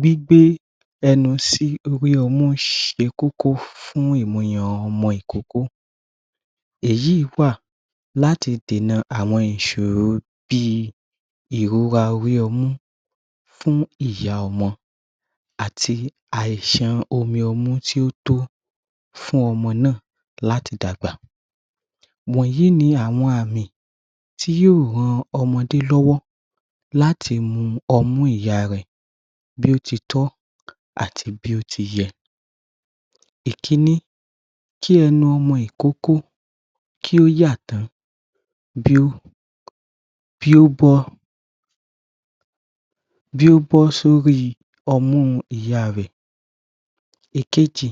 Gbígbé ẹnu sí orí ọmú ṣe kókó fún ìmuyàn ọmọ ìkókó. Èyí wà láti dènà àwọn ìṣòro bí ìrora orí ọmú fún ìyá ọmọ. àti àìṣàn omi ọmú tí ó tó fún ọmọ náà láti dàgbà. Wọ̀nyí ní àwọn àmì tí yo ràn ọmọdé lọ́wọ́ láti mu ọmú ìyá rẹ̀ bí ó titọ́ àti bí ó tiyẹ. Ìkíní. Kí ẹnu ọmọ ìkókó kí ó yà tán bí ó bí ó bọ́ bí ó bọ́ sí orí ọmú ìyá rẹ̀. Ìkejì.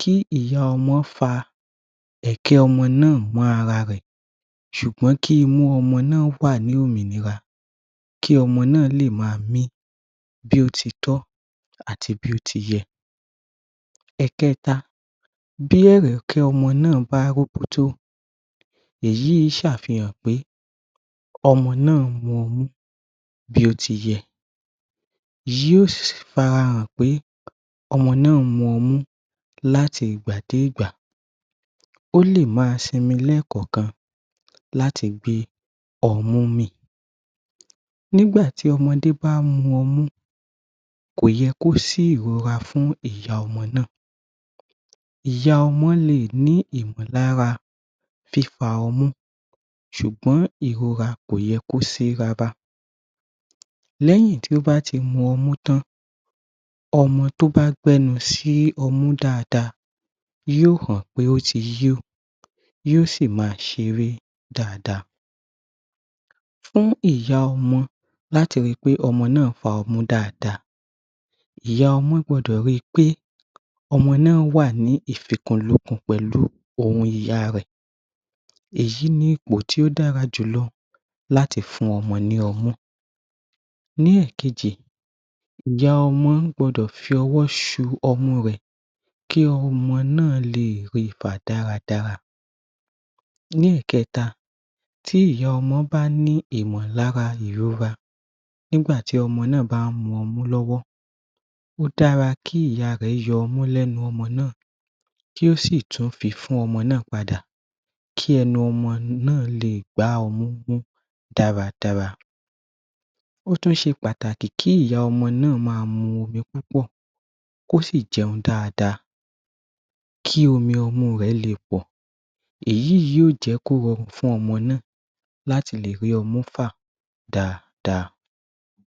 Kí ìyá ọmọ fa ẹ̀kẹ́ ọmọ náà mó ara rẹ̀ ṣùgbọ́n kí imú ọmọ náà wà ní òmìnira kí ọmọ náà lè máa mí bí ó titọ́ àti bí ó tiyẹ. Ẹ̀kẹta. Bi ẹ̀rẹ̀kẹ́ ọmọ náà bá róbótó èyí ṣàfihàn pé ọmọ náà mu ọmú bí ó tiyẹ yóò fara pé ọmọ náà mu ọmú láti ìgbà dégbà. Ó lè má simi lẹ́ẹ̀kọ̀ọ̀kan láti gbé ọmú mì. Nígbà tí ọmọdé bá mu ọmú kò yẹ kí ó sí ìrora fún ìyá ọmọ náà ìyá ọmọ náà lè ní ìmọ̀lára fífa ọmú ṣùgbọ́n ìrora kò yẹ kó sí rárá. Lẹ́yìn tí ó bá tí mu ọmú tán ọmọ tí ó bá gbé ẹnu sí ọmú dáadáa yóò hàn pé ó ti yó yóò sí máa ṣeré dáadáa. Fún ìyá ọmọ láti ri pé ọmọ náà fa ọmú dáadáá, ìyá ọmọ gbọdọ̀ rí pé ọmọ náà wà ní ìfikùnúkù pẹ̀lú òmìya rẹ̀. Èyí ni ìpò tí o dára jù lọ láti fún ọmọ ní ọmú Ní ẹ̀kejì ìyá ọmọ gbọdọ̀ fi ọwọ́ ṣu ọmọ rẹ̀ kí ọmọ náà lè rí fa dáradára. Ní ẹ̀kẹta. Tí ìyá ọmọ bá ní ìmọ̀lára ìrora nígbà tí ọmọ náà bá mu ọmú lọ́wọ́ ó dára kí ìyá rẹ̀ yọ ọmú lẹ́nu ọmọ náà kí ó sì tún fi fún ọmọ náà pàdà, kí ẹnu ọmọ náà lè gbà ọmú dára dára. Ó tún ṣe pàtàkì kí ìyá ọmọ náà máa mu omi púpọ̀, kí ó sì jẹun dáadáa kí omi ọmú rẹ̀ lè pọ̀. Èyí yóò jẹ́ kí o rọrùn fún ọmọ náà láti lè rí ọmú fà dáa dáa.